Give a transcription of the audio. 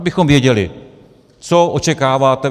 Abychom věděli, co očekáváte.